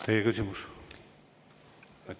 Teie küsimus!